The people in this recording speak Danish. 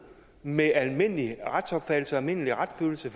med almindelig retsopfattelse og almindelig retsfølelse